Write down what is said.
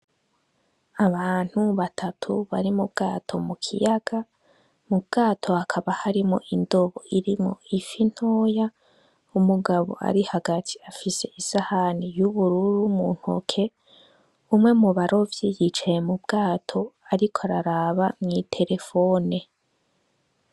Abantu batatu bari mu bwato mu kiyaga, mu bwato hakaba harimwo indobo irimwo ifi ntoya, umugabo ari hagati afise isahani y'ubururu mu ntoke, umwe mu barovyi yicaye mu bwato ariko araraba mw'iterefone.